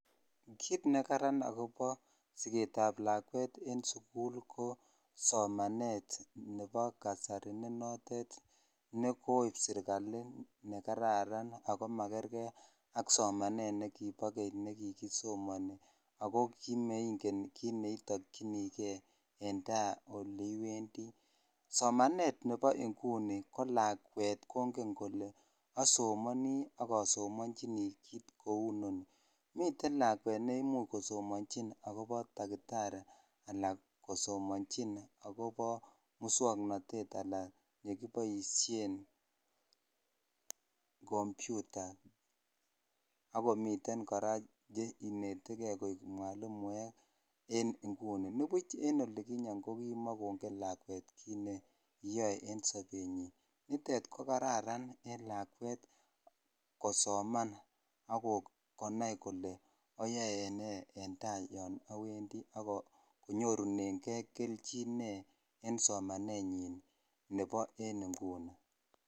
Kit nekaran agobo siketab lakwet en sukul ko somanet nebo kasari ne koip serikali nekararan ago makerke ak somanet nekibo keny nekikisomani ago kimaingen kit ne kiitokyinike en ta oleiwendi. Somanet nebo inguni ko lakwet kongen kole asomani ak asomanchini kit kou inoni. Miten lakwet nemuch kosomanchin agobo takitari anan kosomanchin agobo muswoknatet anan yekiboisien kompiuta ak komiten kora cheinetege koik mwalimuek en inguni. Nibuch en inguni kokimakongen lakwet kit neyoe en sobenyin. Nitet ko kararan en lakwet kosoman ak konai kole ayoe ne en tai yon awendi ak konyorunenge keljin ne en somanenyin nebo en inguni.